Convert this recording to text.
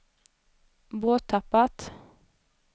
borttappat